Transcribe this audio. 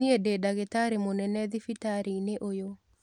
Niĩndĩdagĩtarĩmunene thibitarĩ-inĩũyũ.